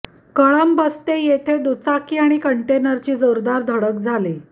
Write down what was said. कळंबस्ते येथे दुचाकी आणि कंटेनरची जोरदार धडक झाली